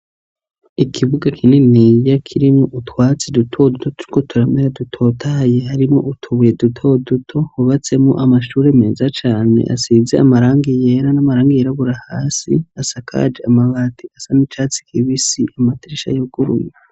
Ikibuga kininiya kirimwo utwatsi duto duto turiko turamera dutotahaye, harimwo utubuye duto duto, hubatsemwo amashuri meza cane asize amarangi yera, n'amarangi yirabura, hasi asakaje amabati asa n'icatsi kibisi, amadirisha yuguruye.